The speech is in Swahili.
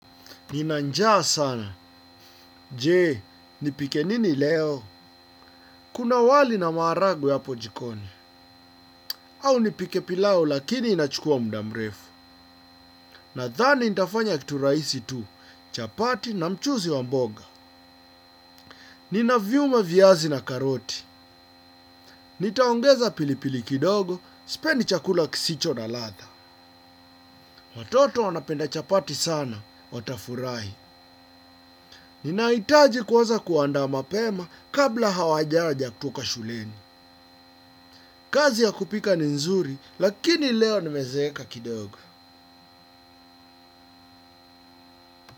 Nina njaa sana. Je, nipike nini leo? Kuna wali na maharagwe hapo jikoni. Au nipike pilau lakini inachukua muda mrefu. Nadhani nitafanya kitu rahisi tu, chapati na mchuzi wa mboga. Ninaviuma viazi na karoti. Nitaongeza pilipili kidogo, sipendi chakula kisicho na ladha. Watoto wanapenda chapati sana, watafurahi. Ninahitaji kuanza kuandaa mapema kabla hawajaja kutoka shuleni. Kazi ya kupika ni nzuri lakini leo nimezeeka kidogo.